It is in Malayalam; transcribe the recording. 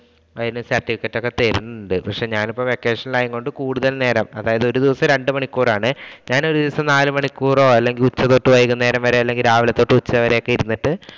അതിന്‍റെ certificate ഒക്കെ തരുന്നുണ്ട്. ഞാനിപ്പോ vacation ആയതുകൊണ്ട് കൂടുതൽ നേരം ഒരു ദിവസം രണ്ടു മണിക്കൂർ ആണ് ഞാൻ ഒരു ദിവസം നാലു മണിക്കൂറോ, ഉച്ച തൊട്ട് വൈകുന്നേരം വരെ, രാവിലെ തൊട്ട് വൈകുന്നേരം ഒക്കെ ഇരുന്നിട്ട്